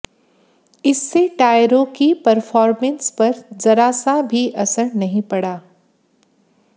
इससे टायरों की परफॉर्मेंस पर जरा सा भी असर नहीं पड़ा